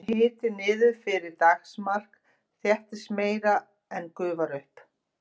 fari hiti niður fyrir daggarmark þéttist meira en gufar upp